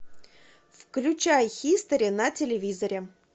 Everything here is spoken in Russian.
включай хистори на телевизоре